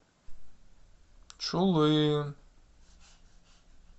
чулым